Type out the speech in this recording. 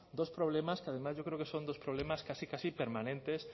dos problemas que además yo creo que son dos problemas casi casi permanentes